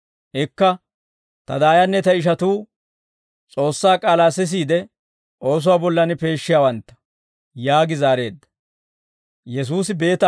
Ikka, «Ta daayanne ta ishatuu, S'oossaa k'aalaa sisiide oosuwaa bollan peeshshiyaawantta» yaagi zaareedda.